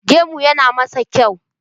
Gemu yana masa kyau